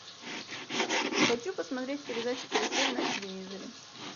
хочу посмотреть передачу карусель на телевизоре